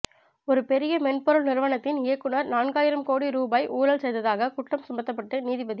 ஒரு பெரிய மென்பொருள் நிறுவனத்தின் இயக்குனர் நான்காயிரம் கோடி ரூபாய் ஊழல் செய்ததாகக் குற்றம் சுமத்தப்பட்டு நீதிபதி